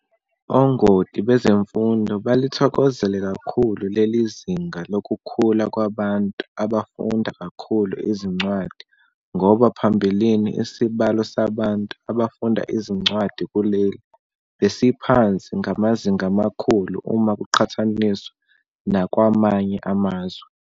Ongoti bezemfundo balithokozele kakhulu lelizinga lokukhula kwabantu abafunda kakhulu izincwadi ngoba phambilini isibalo sabantu abafunda izincwadi kuleli besiphansi ngamazinga amakhulu uma kuqhathaniswa nakwamanye amazwe.